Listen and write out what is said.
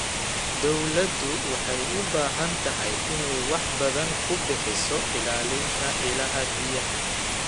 Dawladdu waxay u baahan tahay inay wax badan ku bixiso ilaalinta ilaha biyaha.